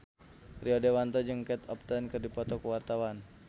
Rio Dewanto jeung Kate Upton keur dipoto ku wartawan